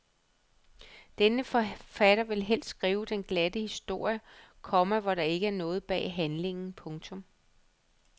Denne forfatter vil helst skrive den glatte historie, komma hvor der ikke er noget bag handlingen. punktum